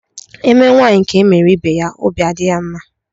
Emee nwanyi ka e mere ibe ya óbị adị ya mma.